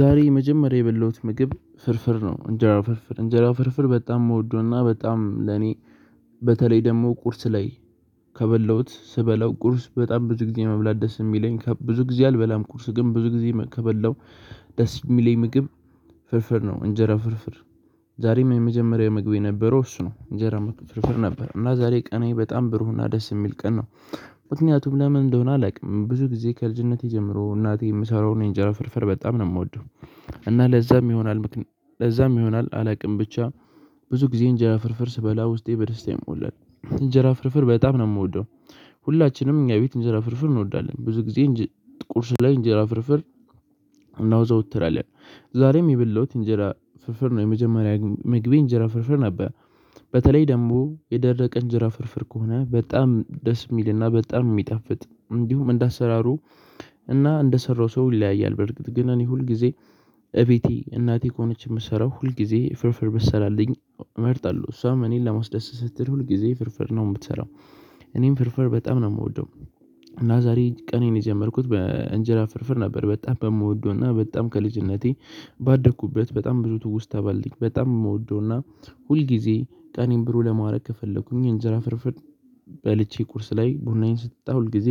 ዛሬ የመጀመሪያ የበላሁት ምግብ ፍርፍር ነው እንጀራው ፍርፍር እንጀራው ፍርፍር በጣም እምወደውና በጣም ለኔ በተለይ ደግሞ ቁርስ ላይ ከበላሁት ስበላው ቁርስ በጣም ብዙ ጊዜ መብላት ደስ የሚለኝ ብዙ ጊዜ አልበላም ቁርስ ግን ብዙ ጊዜ ከበላው ደስ የሚለኝ ምግብ ፍርፍር ነው እንጀራ ፍርፍር። ዛሬም የመጀመሪያው ምግብ የነበረው እሱ ነው እንጀራ መቶ ፍርፍር ነበር እና ዛሬ ቀኔ በጣም ብሩህና ደስ የሚል ቀን ነው። ምክንያቱም ለምን እንደሆነ አላውቅም ብዙ ጊዜ ከልጅነቴ ጀምሮ እናቴ የምሰራውን የእንጀራ ፍርፍር በጣም ነው ምወደው። እና ለዛም ይሆናል ለዛም ይሆናል አላቅም ብቻ ብዙ ጊዜ እንጀራ ፍርፍር ስበላ ውስጤ በደስታ ይሞላል እንጀራ ፍርፍር በጣም ነው ምወደው። ሁላችንም እኛ ቤት እንጀራ ፍርፍር እንወዳለን ብዙ ጊዜ እንጂ ቁርስ ላይ እንጀራ ፍርፍር። እናወዛወትራለን። ዛሬም የበላሁት እንጀራ ፍርፍር ነው የመጀመሪያ ምግቤ እንጀራ ፍርፍር ነበር። በተለይ ደግሞ የደረቀ እንጀራ ፍርፍር ከሆነ በጣም ደስ የሚልና በጣም የሚጣፍጥ እንዲሁም እንደ አሰራሩ እና እንደሰራው ሰው ይለያያል። በርግጥ ግን እኔ ሁል ጊዜ እቤቴ እናቴ ከሆነች ምሰራው ሁል ጊዜ ፍርፍር ብትሰራለኝ እመርጣለሁ እሷም እኔን ለማስደሰት ስትል ሁል ጊዜ ፍርፍር ነው ምትሰራው። እኔም ፍርፍር በጣም ነው ምወደው። እና ዛሬ ቀኔን የጀመርኩት በእንጀራ ፍርፍር ነበር በጣም በምወደውና በጣም ከልጅነቴ ባደኩበት በጣም ብዙ ትውስታ ባለኝ በጣም የምወደውና ሁል ጊዜ ቀኔን ብሩ ለማረግ ከፈለኩኝ እንጀራ ፍርፍር። በልቼ ቁርስ ላይ ቡናዬን ስጠጣ ሁል ጊዜ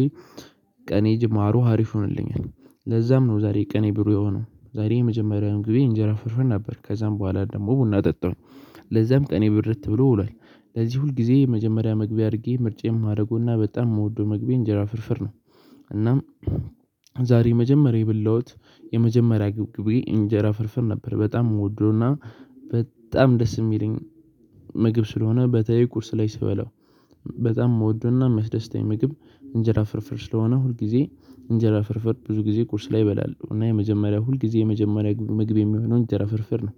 ቀኔ ጅማሮ ሀሪፍ ሆነልኛል። ለዛም ነው ዛሬ ቀኔ ብሩህ የሆነው ዛሬ የመጀመሪያውን ግቤ እንጀራ ፍርፍር ነበር ከዛም በኋላ ደግሞ ቡና ጠጣሁኝ። ለዛም ቀኔ ብርት ብሎ ውሏል። ለዚህ ሁልጊዜ የመጀመሪያ ምግቤ አድርጌ ምርጫዬ የማረገውና በጣም ምወደው ምግቤ እንጀራ ፍርፍር ነው። እናም ዛሬ የመጀመሪያ የበላሁት የመጀመሪያ ግቤግብ እንጀራ ፍርፍር ነበር። በጣም ወዶና በጣም ደስ ሚለኝ ምግብ ስለሆነ በተለይ ቁርስ ላይ ስበላው። በጣም ምወደውና ሚያስደስተኝ ምግብ እንጀራ ፍርፍር ስለሆነ ሁል ጊዜ እንጀራ ፍርፍር ብዙ ጊዜ ቁርስ ላይ እበላለሁ እና የመጀመሪያው ሁል ጊዜ የመጀመሪያ ምግብ የሚሆነው እንጀራ ፍርፍር ነው።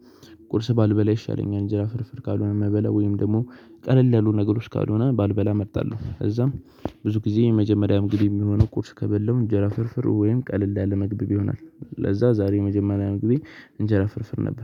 ቁርስ ባልበላ ይሻለኛል እንጀራ ፍርፍር ካልሆነ ምበላ ወይም ደግሞ ቀለል ያሉ ነገሮች ካልሆነ ባልበላ እመርጣለሁ። እዛም ብዙ ጊዜ የመጀመሪያ ምግቢ የሚሆነው ቁርስ ከበለው እንጀራ ፍርፍር ወይም ቀለል ያለ ምግብ ይሆናል። ለዛ ዛሬ የመጀመሪያ ምግቤ እንጀራ ፍርፍር ነበር